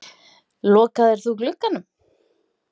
Lokaðir þú glugganum?